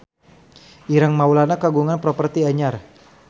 Ireng Maulana kagungan properti anyar